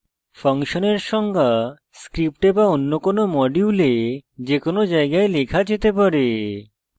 ফাংশনের সংজ্ঞা script be অন্য কোনো module যে কোনো জায়গায় লেখা যেতে পারে